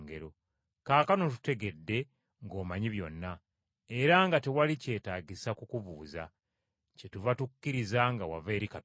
Kaakano tutegedde ng’omanyi byonna, era nga tewali kyetaagisa kukubuuza. Kyetuva tukkiriza nga wava eri Katonda.”